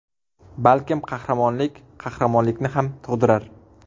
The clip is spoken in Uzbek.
Balkim qahramonlik qahramonlikni ham tug‘dirar?